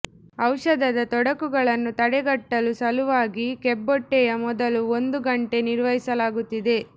ಔಷಧದ ತೊಡಕುಗಳನ್ನು ತಡೆಗಟ್ಟಲು ಸಲುವಾಗಿ ಕಿಬ್ಬೊಟ್ಟೆಯ ಮೊದಲು ಒಂದು ಗಂಟೆ ನಿರ್ವಹಿಸಲಾಗುತ್ತಿದೆ